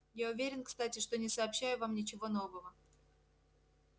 я уверен кстати что не сообщаю вам ничего нового